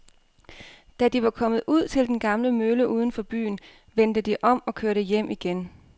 Da de var kommet ud til den gamle mølle uden for byen, vendte de om og kørte hjem igen.